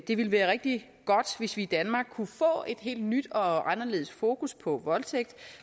det ville være rigtig godt hvis vi i danmark kunne få et helt nyt og anderledes fokus på voldtægt